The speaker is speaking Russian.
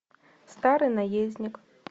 старый наездник